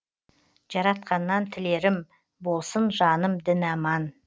жаратқаннан тілерім болсын жаным дін аман